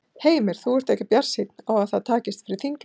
Heimir: Þú ert ekki bjartsýn á að það takist fyrir þinglok?